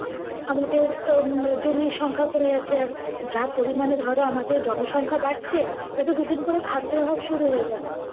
আমাদের আহ জমির সংখ্যা কমে যাচ্ছে। যা পরিমাণে ধরো আমাদের জনসংখ্যা বাড়ছে, এ তো দুদিন পরে খাদ্যের অভাব শুরু হয়ে যাবে।